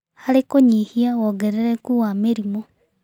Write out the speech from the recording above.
Harĩ kũnyihia wongerereku wa mĩrimũ